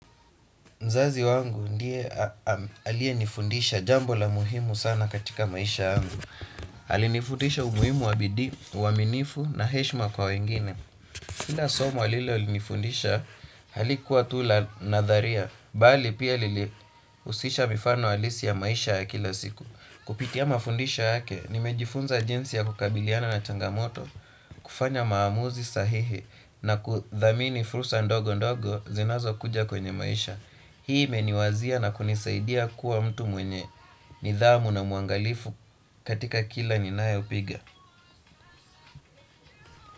Mzazi wangu ndiye aliyenifundisha jambo la muhimu sana katika maisha yangu. Alinifundisha umuimu wa bidii, uaminifu na heshima kwa wengine. Kila somo alil nifundisha, halikuwa tu la nadharia. Bali pia lilihusisha mifano halisi ya maisha ya kila siku. Kupitia mafundisho yake, nimejifunza jinsi ya kukabiliana na changamoto, kufanya maamuzi sahihi na kudhamini fursa ndogo ndogo zinazo kuja kwenye maisha. Hii imeniwazia na kunisaidia kuwa mtu mwenye nidhamu na muangalifu katika kila ninayo piga.